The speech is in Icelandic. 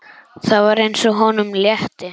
Það var eins og honum létti.